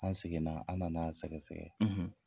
An seginna an nana a sɛgɛsɛgɛ.